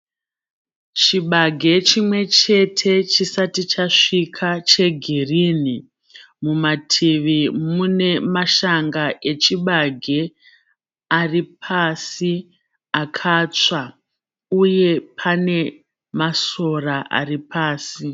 Chibage chimwe chete chisati chasvika chegirini. Mumativi mune mashanga echibage ari pasi akatsva uye pane masora ari pasi.